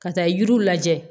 Ka taa yiriw lajɛ